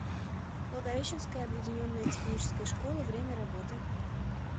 благовещенская объединенная техническая школа время работы